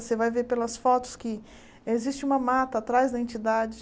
Você vai ver pelas fotos que existe uma mata atrás da entidade.